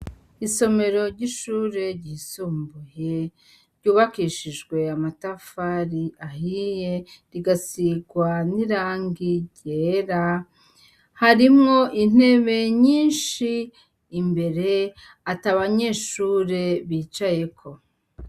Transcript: Isomero ryishure ryisumbuye ryubakishijwe amatafari ahiye rigasirwa nirangi ryera harimwo intebe nyinshi imbere atabanyeshure bicayeko